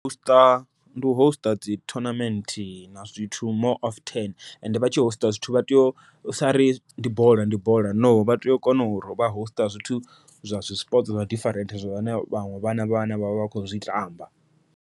U host ndi u host dzi tournament na zwithu more often, ende vha tshi host zwithu vha tea u sa ri ndi bola ndi bola no, vha tea u kona uri vha host zwithu zwa dzi sports zwa different zwone vhaṅwe vhana vhane vha vha vha khou zwi tamba.